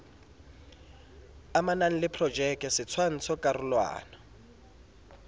amanang le projeke setshwantsho karolwana